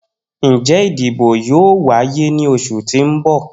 Njẹ idibo yoo waye ni oṣu ti n bọ?